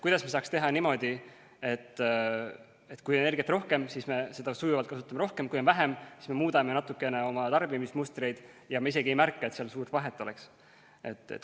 Kuidas me saaksime teha niimoodi, et kui on energiat rohkem, siis me seda sujuvalt kasutame rohkem, kui on vähem, siis me muudame natukene oma tarbimismustreid ja me isegi ei märka, et seal suurt vahet oleks?